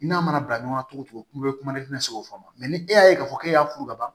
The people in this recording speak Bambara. I n'a mana bila ɲɔgɔn na cogo o cogo kuma bɛ kuma ne tɛ se o faamu ma ne e y'a ye k'a fɔ k'e y'a furu ban